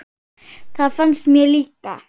Það finnst mér líka.